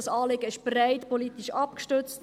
Dieses Anliegen ist politisch breit abgestützt;